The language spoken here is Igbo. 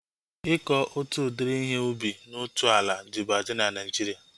Ịkọ otu udiri ihe ubi na otu ala dịbu adị na Naijiria